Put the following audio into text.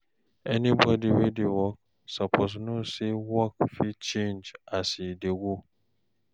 anybodi wey dey work soppose know say work fit change as e dey go